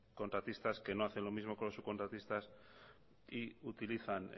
contratistas que no hacen lo mismo con los subcontratistas y utilizan